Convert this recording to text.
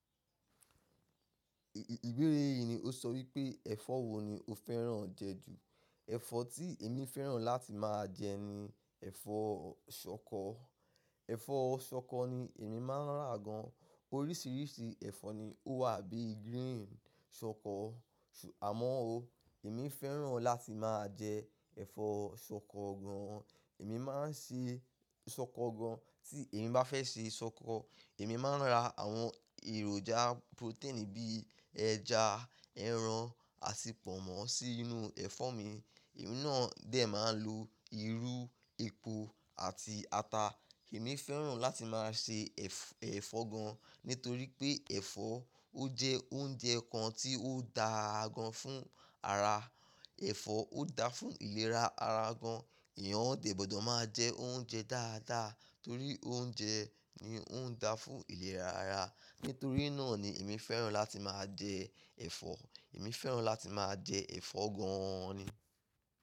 Ìbéèrè yìí ni ó sọ wípé ẹ̀fọ́ wo ni o fẹ́ràn jẹ ju? Ẹ̀fọ́ tí èmi fẹ́ràn láti máa jẹ ni ẹ̀fọ́ ṣọkọ. Ẹ̀fọ́ ṣọkọ ni èmi máa ń rà gan. Oríṣiríṣi ẹ̀fọ́ ni ó wà bí i green ṣọkọ. Àmọ́ ó, èmi fẹ́ràn láti máa jẹ ẹ̀fọ́ ṣọkọ gan. Èmi máa ń ṣe ṣọkọ gan. Tí èmi bá fẹ́ ṣe ṣọkọ, èmi máa ń ra àwọn èròjà protein bí i ẹja, ẹran, àti pọ̀nmọ́ sí inú ẹ̀fọ́ mi. Èmi náà dè máa ń lo irú, epo àti ata. Èmi fẹ́ràn láti máa ṣe ẹ̀fọ́ gan nítorí pé ẹ̀fọ́ ó jẹ́ oúnjẹ kan tí ó da gan fún ara. Ẹ̀fọ́ ó da fún ìlera ara gan. Ẹ̀yán ọdẹ gbọ́dọ̀ máa jẹ oúnjẹ dáadáa torí oúnjẹ ni ó ń da fún ìlera ara. Nítorí náà ni èmi fẹ́ràn láti máa jẹ ẹ̀fọ́. Èmi fẹ́ràn láti máa jẹ ẹ̀fọ́ gan ni.